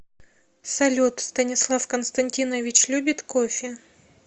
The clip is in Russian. салют станислав константинович любит кофе